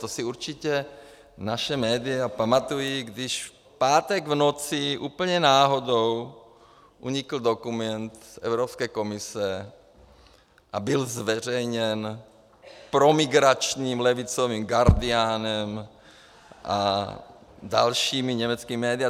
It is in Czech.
To si určitě naše média pamatují, když v pátek v noci úplně náhodou unikl dokument Evropské komise a byl zveřejněn promigračním levicovým Guardianem a dalšími německými médii.